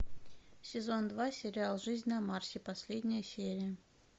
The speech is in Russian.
сезон два сериал жизнь на марсе последняя серия